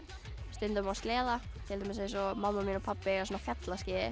stundum á sleða mamma mín og pabbi eiga svona